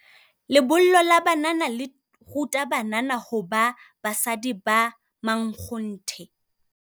Lebollo la banana le ruta banana hoba basadi ba mankgonthe.